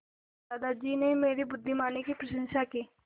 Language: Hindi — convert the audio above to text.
दादाजी ने मेरी बुद्धिमानी की प्रशंसा की